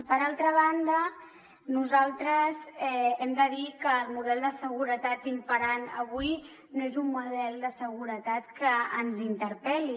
per altra banda nosaltres hem de dir que el model de seguretat imperant avui no és un model de seguretat que ens interpel·li